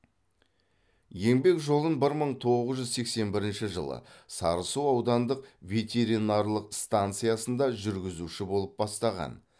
еңбек жолын бір мың тоғыз жүз сексен бірінші жылы сарысу аудандық ветеринарлық станциясында жүргізуші болып бастаған